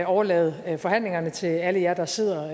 overlade forhandlingerne til alle jer der sidder